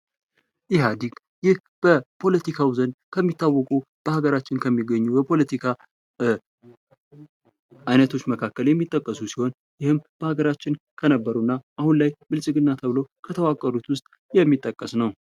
የኢህአዴግ ይህ ፖለቲካው ዘንድ ከሚታወቁ በሀገራችን ከሚገኙ የፖለቲካ አይነቶች መካከል የሚጠቀሱ ሲሆን ይህም በሀገራችን ከነበሩ እና አሁን ላይ ብልጽግና ተብለው ከተዋቀሩት ውስጥ የሚጠቀስ ነው።